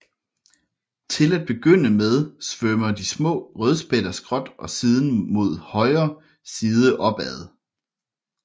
Til at begynde med svømmer de små rødspætter skråt og siden med højre side opad